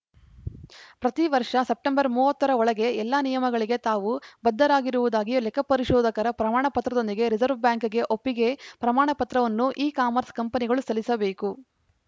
ಪ್ರತಿ ವರ್ಷ ಸೆಪ್ಟೆಂಬರ್‌ ಮೂವತ್ತ ರ ಒಳಗೆ ಎಲ್ಲ ನಿಯಮಗಳಿಗೆ ತಾವು ಬದ್ಧರಾಗಿರುವುದಾಗಿ ಲೆಕ್ಕಪರಿಶೋಧಕರ ಪ್ರಮಾಣಪತ್ರದೊಂದಿಗೆ ರಿಸೆರ್ವೆ ಬ್ಯಾಂಕ್‌ಗೆ ಒಪ್ಪಿಗೆ ಪ್ರಮಾಣಪತ್ರವನ್ನು ಇಕಾಮರ್ಸ್‌ ಕಂಪನಿಗಳು ಸಲ್ಲಿಸಬೇಕು